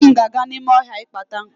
Nne m ga-aga n'ime ohia ịkpata nkụ.